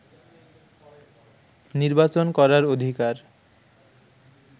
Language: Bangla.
নির্বাচন করার অধিকার